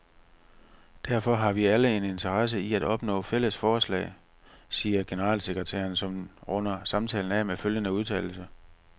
Derfor har vi alle en interesse i at opnå fælles fodslag, siger generalsekretæren, som runder samtalen af med følgende udtalelse.